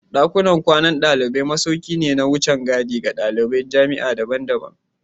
Dakunan kwanan dalibai masauki ne na wucin gadi ga daliban jami'a daban-daban